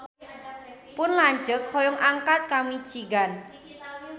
Pun lanceuk hoyong angkat ka Michigan